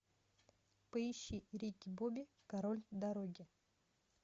поищи рики бобби король дороги